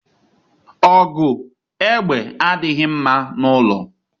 Ogu egbe adighi mma n’ulo